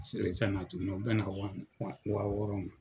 Feere fɛn na tuguni, o bɛn na wa wɔɔrɔ ma.